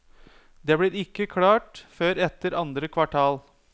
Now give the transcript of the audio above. Det blir ikke klart før etter andre kvartal.